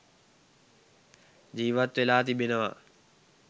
ජීවත් වෙලා තිබෙනවා.